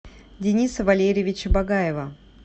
дениса валерьевича багаева